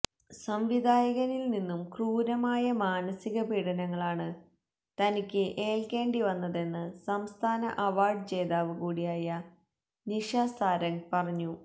സംവിധായകനിൽ നിന്നും ക്രൂരമായ മനസികപീഡനങ്ങളാണ് തനിക്ക് ഏൽക്കേണ്ടിവന്നതെന്ന് സംസ്ഥാന അവാര്ഡ് ജേതാവ് കൂടിയായ നിഷ സാരംഗ് പറഞ്ഞു